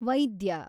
ವೈದ್ಯ